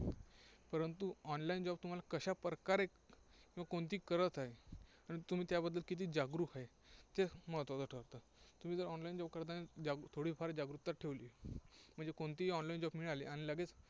परंतु online job तुम्हाला कशा प्रकारे किंवा कोणती करत आहे, आणि तुम्ही त्याबद्दल किती जागृक आहे, तेच महत्त्वाचं ठरतं. तुम्ही जर online job करताना ज्या गोष्टी थोडीफार जागृकता ठेवली म्हणजे कोणतीही online आली आणि लगेच